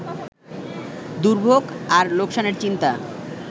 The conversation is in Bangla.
দুর্ভোগ আর লোকসানের চিন্তা